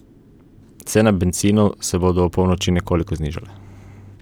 Cene bencinov se bodo ob polnoči nekoliko znižale.